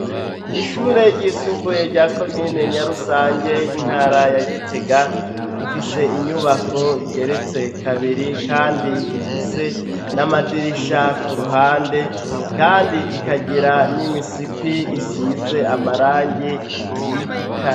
Ishure ryisumbuye rya komine nya rusange y'intara ya gitega, ifise inyubako igeretse kabiri kandi ifise n'amadirisha ku ruhande kandi ikagira n'imisipi isize amarangi y'igitare.